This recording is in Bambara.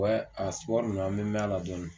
a ninnu an bɛ mɛn la dɔɔnin.